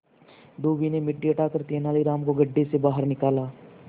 धोबी ने मिट्टी हटाकर तेनालीराम को गड्ढे से बाहर निकाला